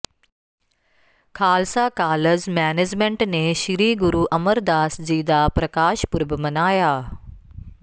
Khalsa college management ਨੇ ਸ੍ਰੀ ਗੁਰੂ ਅਮਰਦਾਸ ਜੀ ਦਾ ਪ੍ਰਕਾਸ਼ ਪੁਰਬ ਮਨਾਇਆ